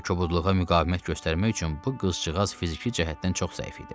Belə kobudluğa müqavimət göstərmək üçün bu qızcığaz fiziki cəhətdən çox zəif idi.